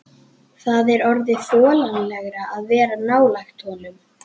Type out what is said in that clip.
Það er orðið þolanlegra að vera nálægt honum.